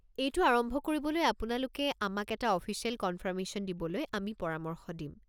এইটো আৰম্ভ কৰিবলৈ আপোনালোকে আমাক এটা অফিচিয়েল কনফাৰ্মেশ্যন দিবলৈ আমি পৰামৰ্শ দিম।